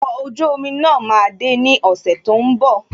Okọ̀ ojú omi náà máa de ní ọ̀sẹ̀ tó ń bọ̀